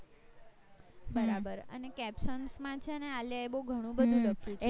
બર્બર અને captions માં છે ને આલિયા એ બૌ ઘણું બધું લખ્યું હતું